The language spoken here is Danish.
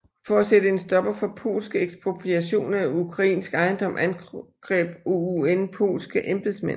For at sætte en stopper for polske ekspropriationer af ukrainsk ejendom angreb OUN polske embedsmænd